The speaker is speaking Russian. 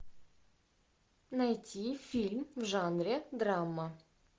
найти фильм в жанре драма